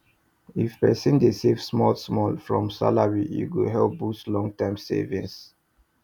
if person dey save small small from salary e go help boost long term savings